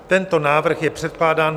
Tento návrh je předkládán